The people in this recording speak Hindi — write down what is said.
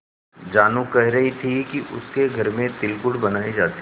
जानू कह रही थी कि उसके घर में तिलगुड़ बनायी जाती है